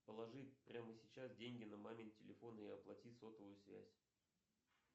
положи прямо сейчас деньги на мамин телефон и оплати сотовую связь